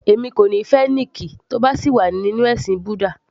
Èmi kò ní fẹ́ Nick tí ó bá sì wà nínú ẹ̀sìn búdà